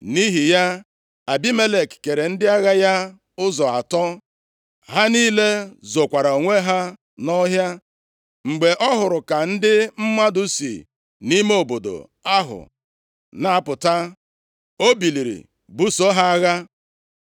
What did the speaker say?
Nʼihi ya, Abimelek kere ndị agha ya ụzọ atọ. Ha niile zokwara onwe ha nʼọhịa. Mgbe ọ hụrụ ka ndị mmadụ si nʼime obodo ahụ na-apụta, o biliri buso ha agha.